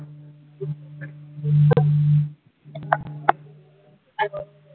अच्छा!